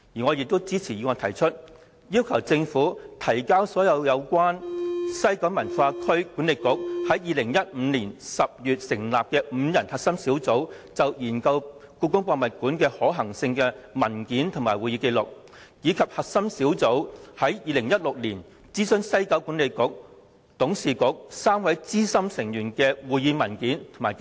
我亦支持議案提出要求，政府須提交所有關於西九管理局於2015年10月成立5人核心小組就研究故宮館的可行性的文件和會議紀錄，以及核心小組於2016年諮詢西九管理局董事局3位資深成員的會議文件及紀錄。